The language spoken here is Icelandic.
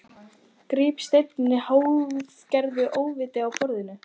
Gríp steininn í hálfgerðu óviti af borðinu.